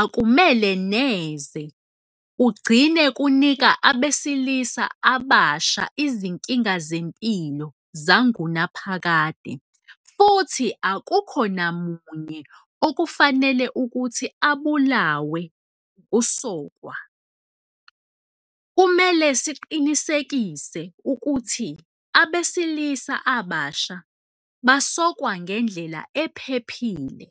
akumele neze kugcine kunika abesilisa abasha izinkinga zempilo zangunaphakade, futhi akukho namunye okufanele ukuthi abulawe ukusokwa. Kumele siqinisekise ukuthi abesilisa abasebasha basokwa ngendlela ephephile.